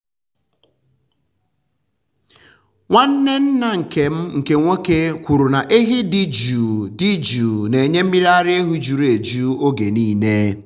nwanne nna m nkè nwoke kwuru na ehi dị jụụ dị jụụ na-enye mmiri ara ehi juru eju oge niile.